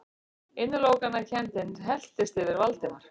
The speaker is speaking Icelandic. Innilokunarkenndin helltist yfir Valdimar.